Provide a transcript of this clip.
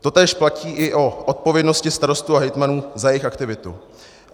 Totéž platí i o odpovědnosti starostů a hejtmanů za jejich aktivitu.